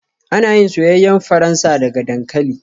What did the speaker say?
Ana yin soyayyen Faransa daga dankali